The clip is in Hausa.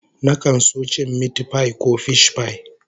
Nakan so cin mitipai ko fishpai